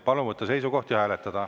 Palun võtta seisukoht ja hääletada.